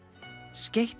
skeytt